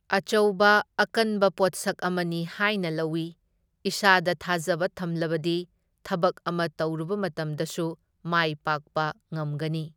ꯑꯆꯧꯕ ꯑꯀꯟꯕ ꯄꯣꯠꯁꯛ ꯑꯃꯅꯤ ꯍꯥꯏꯅ ꯂꯧꯏ, ꯏꯁꯥꯗ ꯊꯥꯖꯕ ꯊꯝꯂꯕꯗꯤ ꯊꯕꯛ ꯑꯃ ꯇꯧꯔꯨꯕ ꯃꯇꯝꯗꯁꯨ ꯃꯥꯏ ꯄꯥꯛꯄ ꯉꯝꯒꯅꯤ꯫